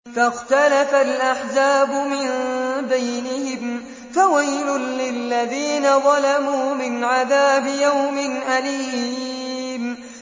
فَاخْتَلَفَ الْأَحْزَابُ مِن بَيْنِهِمْ ۖ فَوَيْلٌ لِّلَّذِينَ ظَلَمُوا مِنْ عَذَابِ يَوْمٍ أَلِيمٍ